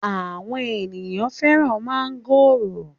Àwọn ènìyàn fẹ́ràn mángòrò.